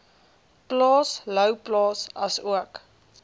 plaas louwplaas asook